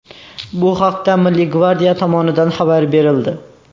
Bu haqda Milliy gvardiya tomonidan xabar berildi .